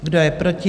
Kdo je proti?